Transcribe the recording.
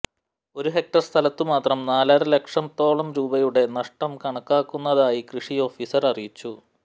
ഒരു ഹെക്ടർ സ്ഥലത്തുമാത്രം നാലര ലക്ഷത്തോളം രൂപയുടെ നഷ്ടം കണക്കാക്കുന്നതായി കൃഷി ഓഫിസർ അറിയിച്ചു